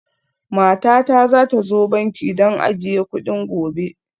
Matata za ta zo banki don ajiye kuɗin gobe